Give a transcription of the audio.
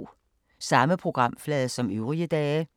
Samme programflade som øvrige dage